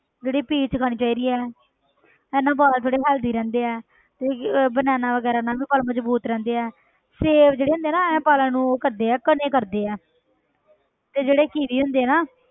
ਜਿਹੜੇ peach ਖਾਣੀ ਚਾਹੀਦੀ ਹੈ ਇਹਦੇ ਨਾਲ ਵਾਲ ਬੜੇ healthy ਰਹਿੰਦੇ ਹੈ ਤੇ ਕੀ banana ਵਗ਼ੈਰਾ ਨਾਲ ਵੀ ਵਾਲ ਮਜ਼ਬੂਤ ਰਹਿੰਦੇ ਹੈ ਸੇਬ ਜਿਹੜੇ ਹੁੰਦੇ ਆ ਨਾ ਇਹ ਵਾਲਾਂ ਨੂੰ ਉਹ ਕਰਦੇ ਹੈ ਘਣੇ ਕਰਦੇ ਹੈ ਤੇ ਜਿਹੜੇ ਕੀਵੀ ਹੁੰਦੇ ਨਾ